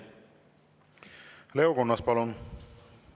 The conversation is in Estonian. Leo Kunnas, palun!